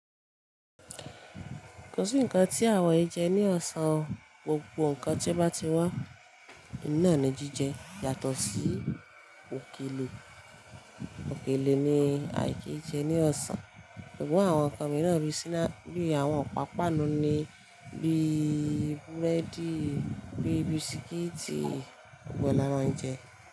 Kò sí ǹnkan tí àwọn yè jẹ ní ọ̀sán o. Gbogbo ǹnkan tí bá ti wá nàá ni jíjẹ. Yàtọ̀ sí òkèlè, òkèlè ni àìkí jẹ ní ọ̀sán. Sugbon àwọn ǹnkan mìíràn bí snack, bi àwọn ọ̀pa pànù ni bí i búrẹ́dì, bí i bisikíìtì gbogbo e la máa ń jẹ.